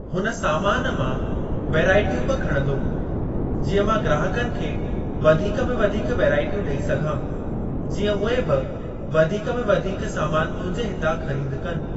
हुन सामान मां वैराइटियूं बि खणंदुमि जीअं मां ग्राहकनि खे वधीक में वधीक वैराइटीयूं ॾेई सघां। जीअं उहे बि वधीक में वधीक सामान मुंहिंजे हितां ख़रीद कनि।